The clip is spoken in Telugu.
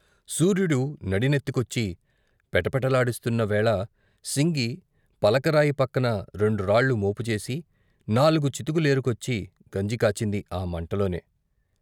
సూర్యుడు నడినెత్తికొచ్చి, పెటపేటలాడిస్తున్న వేళ సింగి పలకలరాయి పక్కన రెండురాళ్ళు మోపుజేసి నాలుగు చితుకు లేరుకొచ్చి గంజి కాచింది ఆ మంటలోనే.